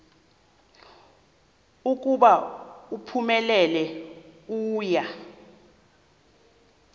ukuba uphumelele uya